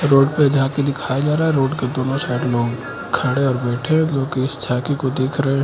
road पे जहां पे दिखाया जा रहा है रोड के दोनों साइड लोग खड़े और बैठे हैं लोग इस छवि को देख रहे--